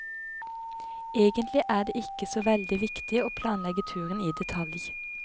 Egentlig er det ikke så veldig viktig å planlegge turen i detalj.